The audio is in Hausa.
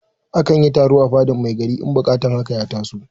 A kan yi taro a fadar mai gari in buƙatar haka ya taso.